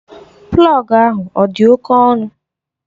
Plọgu ahụ ọ dị oké ọnụ?